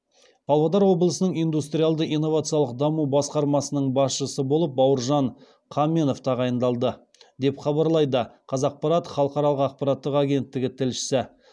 павлодар облысының индустриалды инновациялық даму басқармасының басшысы болып бауыржан қаменов тағайындалды деп хабарлайды қазақпарат халықаралық ақпараттық агенттігі тілшісі